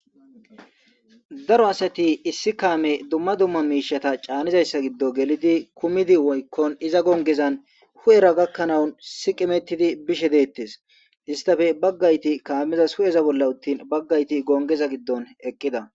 Daro asati issi kame dumma dumma mishata c'nizaysa gidon gelidi kumidi woykko iza gonggezan hu'era gakanaw siqimetidi bishe detes istappe bagayti kamezas hu'era utin bagayti gidon eqida.